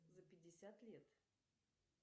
за пятьдесят лет